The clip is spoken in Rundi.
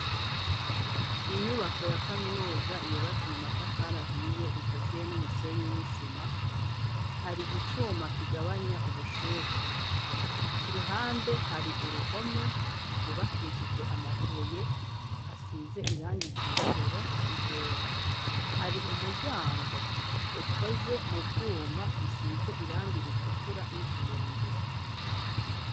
Inyubako ya kaminuza yubatse mu matafari ahiye ikaziye n'umusenyi n'isima, hari icuma kigabanya ubushuhe, ku ruhande hari uruhome rwubakishije amabuye asize irangi ryirabura n'iryera, hari umuryango ukoze mu vyuma bisize irangi ritukura n'utuyungiro.